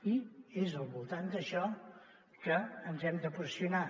i és al voltant d’això que ens hem de posicionar